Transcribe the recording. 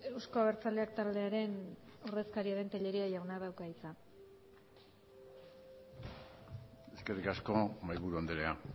euzko abertzaleak taldearen ordezkaria den tellería jaunak dauka hitza eskerrik asko mahaiburu andrea